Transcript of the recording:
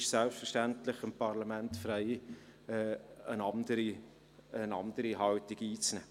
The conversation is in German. Es steht dem Parlament selbstverständlich frei, eine andere Haltung einzunehmen.